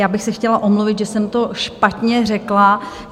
Já bych se chtěla omluvit, že jsem to špatně řekla.